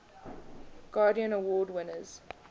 guardian award winners